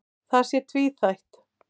Það sé tvíþætt.